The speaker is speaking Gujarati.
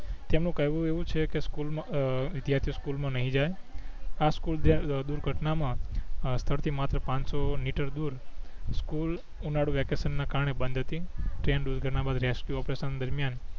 તેમનું કહેવું એવું છે કે સ્કૂલ માં અ વિધ્યાર્થીઓ સ્કૂલ માં નહીં જાય આ સ્કૂલ અ દુર્ઘટના માં સ્થડ થી માત્ર પાનસો મીટર દૂર સ્કૂલ ઉનાડુ વેકેસન ના કારણે બંધ હતી તેમ દુર્ઘટના બાદ રેસ્કયું ઓપરેસન દરમિયાન